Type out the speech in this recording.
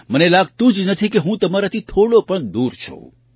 મને લાગતું જ નથી કે હું તમારાથી થોડો પણ દૂર છું